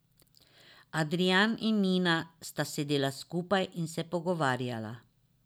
Adrijan in Nina sta sedela skupaj in se pogovarjala.